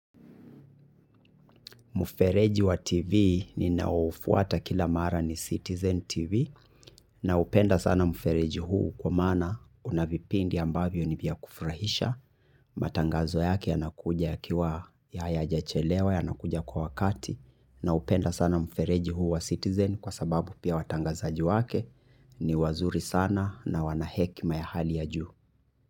Mufereji wa TV ni naofuata kila mara ni Citizen TV. Na upenda sana mufereji huu kwa maana unavipindi ambavyo ni vya kufurahisha. Matangazo yake yanakuja ya kiwa ya ya jachelewa yanakuja kwa wakati. Na upenda sana mfereji huu wa Citizen kwa sababu pia watangazaji wake ni wazuri sana na wanahekima ya hali ya juu.